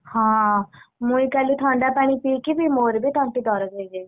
ହଁ ମୁଇଁ କାଲି ଥଣ୍ଡା ପାଣି ପିଇକି ବି ମୋର ବି ତଣ୍ଟି ଦରଜ ହେଇଯାଇଛି।